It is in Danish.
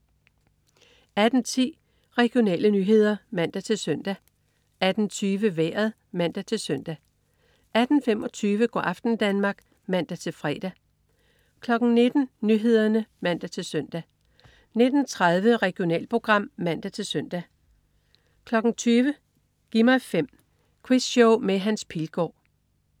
18.10 Regionale nyheder (man-søn) 18.20 Vejret (man-søn) 18.25 Go' aften Danmark (man-fre) 19.00 Nyhederne (man-søn) 19.30 Regionalprogram (man-søn) 20.00 Gi' mig 5. Quizshow med Hans Pilgaard